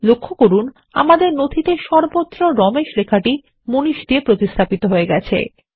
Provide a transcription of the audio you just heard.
লক্ষ্য করুন আমাদের নথিতে সর্বত্র রমেশ লেখাটি মানিশ দিয়ে প্রতিস্থাপিত হয়ে গেছে